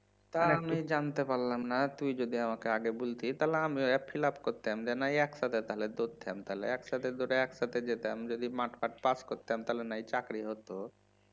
তা আমি জানতে পারলাম না তুই যদি আমাকে আগে বলতিস তাহলে আমিও fill up করতাম যে নয় একসাথে তাহলে দৌড়তাম তাহলে তাহলে একসাথে দৌড়ে একসাথে যেতাম যদি মাঠ ফাঠ পাস করতাম তাহলে নয় চাকরি হত